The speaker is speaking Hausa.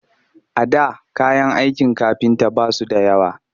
A da kayan aikin kafinta ba su da yawa